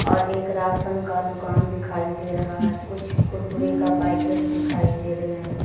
और एक राशन का दुकान दिखाई दे रहा है कुछ कुरकुरे का पैकेट दिखाई दे रहे है।